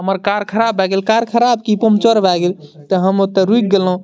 हमर कार खराब भाए गेल कार खराब की पंचर भाए गेल ते हम ओते रुक गेलो।